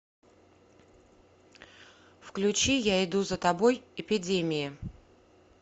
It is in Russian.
включи я иду за тобой эпидемии